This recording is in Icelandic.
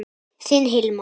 Þinn Hilmar.